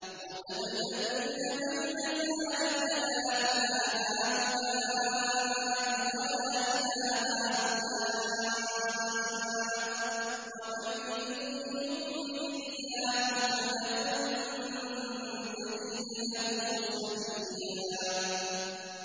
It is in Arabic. مُّذَبْذَبِينَ بَيْنَ ذَٰلِكَ لَا إِلَىٰ هَٰؤُلَاءِ وَلَا إِلَىٰ هَٰؤُلَاءِ ۚ وَمَن يُضْلِلِ اللَّهُ فَلَن تَجِدَ لَهُ سَبِيلًا